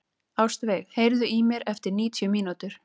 Ástveig, heyrðu í mér eftir níutíu mínútur.